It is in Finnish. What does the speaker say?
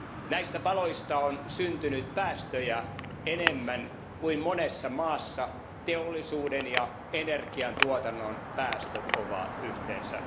Näistä paloista on syntynyt päästöjä enemmän kuin monessa maassa teollisuuden ja energiantuotannon päästöt ovat yhteensä.